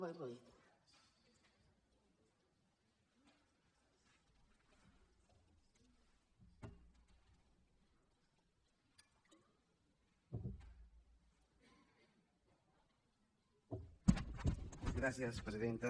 gràcies presidenta